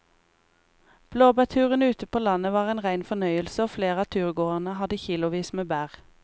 Blåbærturen ute på landet var en rein fornøyelse og flere av turgåerene hadde kilosvis med bær.